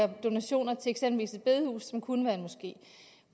donationer til eksempelvis et bedehus som kunne være en moské